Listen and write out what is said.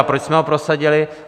A proč jsme ho prosadili?